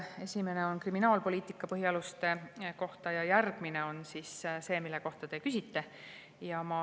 Esimene on kriminaalpoliitika põhialuste kohta ja järgmine on see, mille kohta te küsisite.